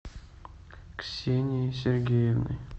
ксенией сергеевной